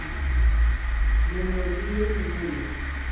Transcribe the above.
mengwe le ye mengwe ye